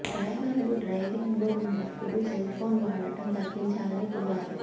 డ్రైవర్లు డ్రైవింగ్ లో ఉన్నప్పుడు సెల్ ఫోన్ వాడడం తగ్గించాలని కోరారు